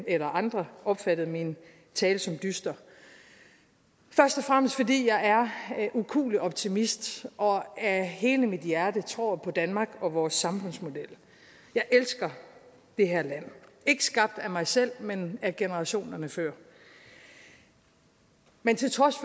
eller andre opfattede min tale som dyster først og fremmest fordi jeg er ukuelig optimist og af hele mit hjerte tror på danmark og vores samfundsmodel jeg elsker det her land ikke skabt af mig selv men af generationerne før men til trods